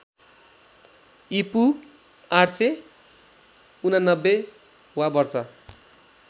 ईपू ८८९ वा वर्ष